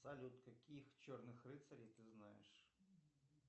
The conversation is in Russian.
салют каких черных рыцарей ты знаешь